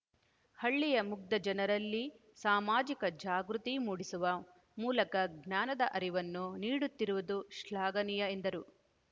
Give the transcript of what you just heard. ಹಳ್ಳಿಯ ಮುಗ್ದ ಜನರಲ್ಲಿ ಸಾಮಾಜಿಕ ಜಾಗೃತಿ ಮೂಡಿಸುವ ಮೂಲಕ ಜ್ಞಾನದ ಅರಿವನ್ನು ನೀಡುತ್ತಿರುವುದು ಶ್ಲಾಘನೀಯ ಎಂದರು